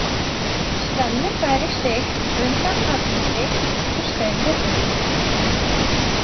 Svenni færir sig undan Agnesi og stendur upp.